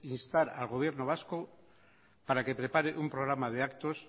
instar al gobierno vasco para que prepare un programa de actos